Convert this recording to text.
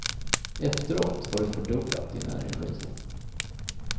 Efteråt har du fördubblat din energi.